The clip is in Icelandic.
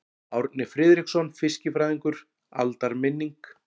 Árni Friðriksson fiskifræðingur: Aldarminning.